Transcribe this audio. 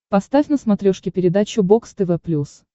поставь на смотрешке передачу бокс тв плюс